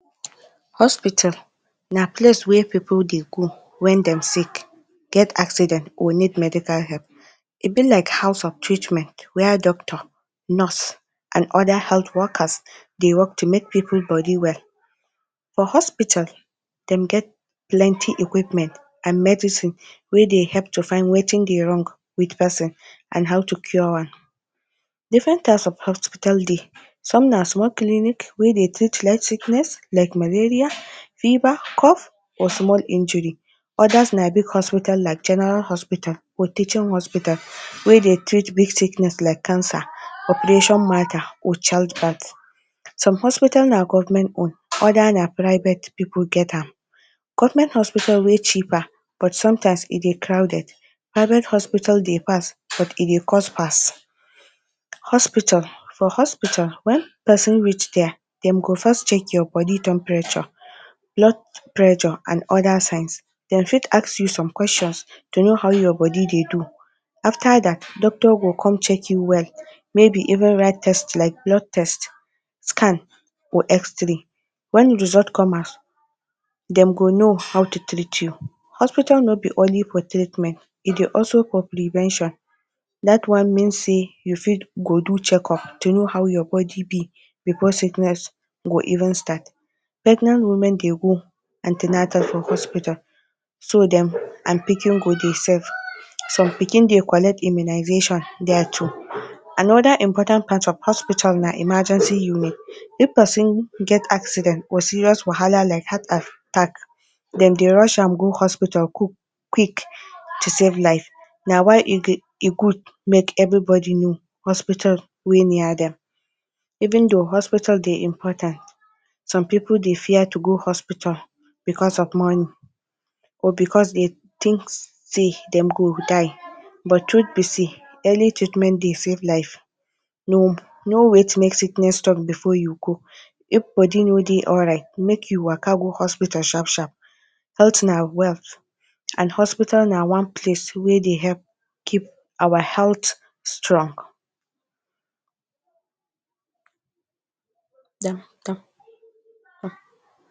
Hospital na place wey pipu dey go when dem sick, get accident or need medical help. E be like house of treatment where doctor, nurse and other health workers dey work to make pipu body well. For hospital, dem get plenty equipment and medicine wey dey help to find wetin dey wrong with person and how to cure am. Different types of hospital dey. Some na small clinic wey dey treat sickness like malaria, fever, cough or small injury. Others na big hospital like general hospital or teaching hospital wey dey treat big sickness like cancer, operation matter or childbirth. Some hospital na government own, other na private pipu get am. Government hospital wey cheaper but sometimes e dey crowded. Private hospital dey fast but e dey cost pass. Hospital for hospital, when person reach there, dem go first check your body temperature, blood pressure and other signs. Dem fit ask you some questions to know how your body dey do. After that, doctor go come check you well, maybe even write test like blood test, scan or xray. When result come out, dem go know how to treat you. Hospital no be only for treatment, e dey also for prevention. That one mean sey you fit go do checkup to know how your body be before sickness go even start. Pregnant women dey go an ten atal for hospital so dem and pikin go dey safe. Some pikin dey collect immunization there too. Another important part of hospital na emergency unit. If person get accident or serious wahala like heart attack, dem dey rush am go hospital quick to save life. Na why e dey e good make everybody know hospital wey near dem. Even though hospital dey important, some pipu dey fear to go hospital because of money or because dem think sey dem go die. But, truth be sey early treatment dey save life. no wait make sickness tough before you go. If body no dey alright, make you waka go hospital sharp sharp. Health na wealth, and hospital na one place wey dey help keep our health strong.